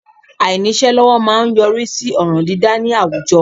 Àìníṣẹ́ lọ́wọ́ má a ń yọrí sí ọ̀ràn dídâ ní àwùjọ